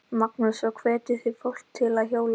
Magnús: Og hvetjið þið fólk til að hjóla?